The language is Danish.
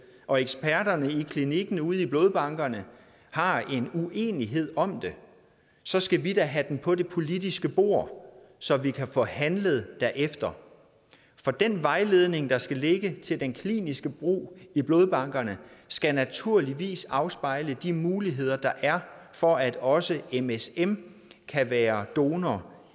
og eksperterne på klinikkerne ude i blodbankerne har en uenighed om det så skal vi da have den på det politiske bord så vi kan få handlet derefter for den vejledning der skal ligge til den kliniske brug i blodbankerne skal naturligvis afspejle de muligheder der er for at også msm kan være donorer